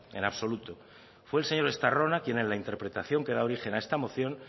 en absoluto fue el señor estarrona quien en la interpretación que da origen a esta moción